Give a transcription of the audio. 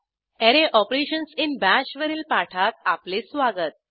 अरे operations in Bash वरील पाठात आपले स्वागत